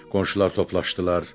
Qonşular toplaşdılar.